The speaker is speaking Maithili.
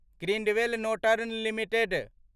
Grindwell Norton limited